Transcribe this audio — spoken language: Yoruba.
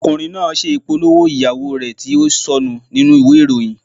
Ọkùnrin náà ṣe ìpolówó ìyàwó rẹ̀ tí ó sọnù nínú ìwé ìròyìn.